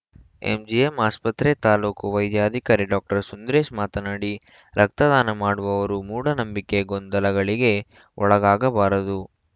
MGM ಆಸ್ಪತ್ರೆ ತಾಲೂಕು ವೈದ್ಯಾಧಿಕಾರಿ ಡಾಕ್ಟರ್ ಸುಂದ್ರೇಶ್‌ ಮಾತನಾಡಿ ರಕ್ತದಾನ ಮಾಡುವವರು ಮೂಢನಂಬಿಕೆ ಗೊಂದಲಗಳಿಗೆ ಒಳಗಾಗಬಾರದು